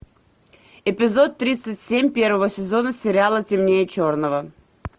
эпизод тридцать семь первого сезона сериала темнее черного